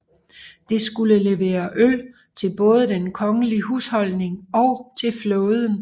Det skulle levere øl til både den kongelige husholdning og til flåden